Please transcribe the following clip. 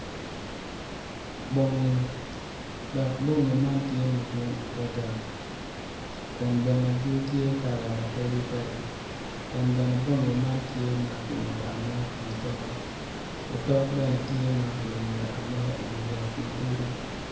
Bongi dok bongi man tye madwong adada kun bene gitye kala mapadi padi kun bene bongi man tye makimoyo amoya i wi tol otok bene tye makimoyo amoya i wi yat matidi.